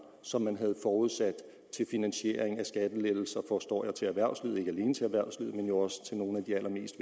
som man havde forudsat til finansiering af skattelettelser forstår jeg til erhvervslivet men jo også til nogle af de allermest